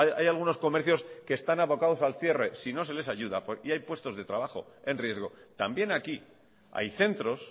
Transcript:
hay algunos comercios que están abocados al cierre si no se les ayuda y hay puestos de trabajo en riesgo también aquí hay centros